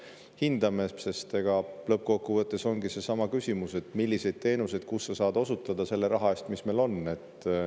hindame, sest lõppkokkuvõttes ongi siin seesama küsimus, milliseid teenuseid kus sa saad osutada selle raha eest, mis sul on.